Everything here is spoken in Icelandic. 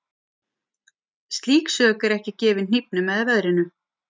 Slík sök er ekki gefin hnífnum eða veðrinu.